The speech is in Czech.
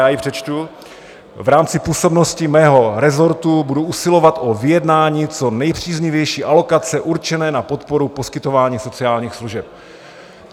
Já ji přečtu: "V rámci působnosti mého rezortu budu usilovat o vyjednání co nejpříznivější alokace určené na podporu poskytování sociálních služeb."